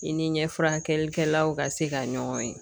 I ni ɲɛfan kɛlikɛlaw ka se ka ɲɔgɔn ye